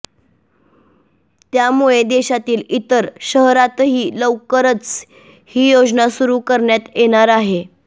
त्यामुळे देशातील इतर शहरातही लवकरचं ही योजना सुरु करण्यात येणार आहे